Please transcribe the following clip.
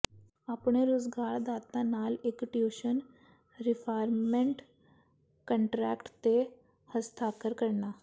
ਆਪਣੇ ਰੁਜ਼ਗਾਰਦਾਤਾ ਨਾਲ ਇੱਕ ਟਿਊਸ਼ਨ ਰੀਫਾਰਮਮੈਂਟ ਕੰਟਰੈਕਟ ਤੇ ਹਸਤਾਖਰ ਕਰਨਾ